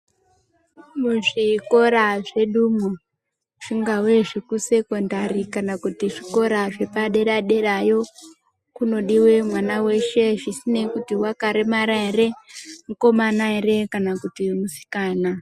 Muzvikora zvedumwo zvingave zvekusekondari kana kuti zvikora zvepaderaderayo kunodiwe mwana weshe zvisinei kuti wakaremara ere mukomana ere kana kuti musikana.